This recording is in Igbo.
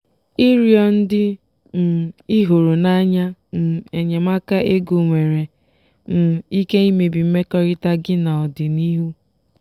ịrịọ ndị um ị hụrụ n'anya um enyemaka ego nwere um ike imebi mmekọrịta gị n'ọdịnihu.